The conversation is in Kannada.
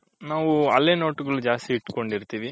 ನಾವು ಹಳೆ note ಗುಳು ಜಾಸ್ತಿ ಇಟ್ಕೊಂಡಿರ್ತಿವಿ.